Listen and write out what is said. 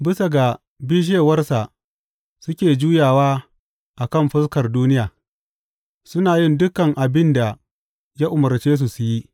Bisa ga bishewarsa suke juyawa a kan fuskar duniya, suna yin dukan abin da ya umarce su su yi.